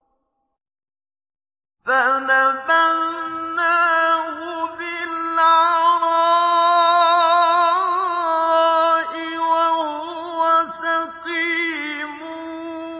۞ فَنَبَذْنَاهُ بِالْعَرَاءِ وَهُوَ سَقِيمٌ